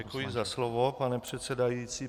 Děkuji za slovo, pane předsedající.